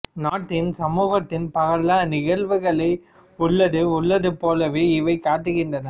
நாட்டின்சமூகத்தின் பல நிகழ்வுகளை உள்ளது உள்ளது போலவே இவை காட்டுகின்றன